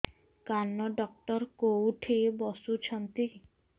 କାନ ଡକ୍ଟର କୋଉଠି ବସୁଛନ୍ତି